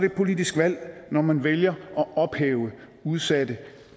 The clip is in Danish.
et politisk valg når man vælger at ophæve udsatte